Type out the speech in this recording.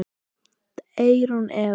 Eyrún Eva.